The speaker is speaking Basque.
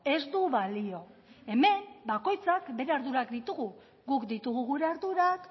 ez du balio hemen bakoitzak bere ardurak ditugu guk ditugu gure ardurak